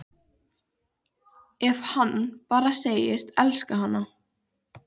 Ef hann bara segðist elska hana: